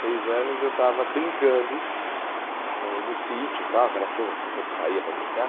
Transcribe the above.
Seis anos eu estava brincando no no sítio tal, aquelas coisas que sempre saía para brincar.